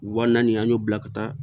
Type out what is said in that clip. Wa naani an y'o bila ka taa